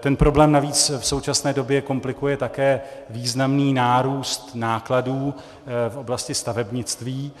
Ten problém navíc v současné době komplikuje také významný nárůst nákladů v oblasti stavebnictví